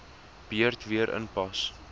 beurt weer inpas